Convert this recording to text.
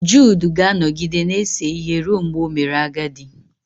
Jud ga-anọgide na-ese ihe ruo mgbe o mere agadi